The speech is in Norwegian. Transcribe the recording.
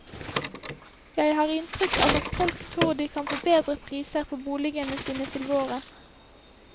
Jeg har inntrykk av at folk tror de kan få bedre priser på boligene sine til våren.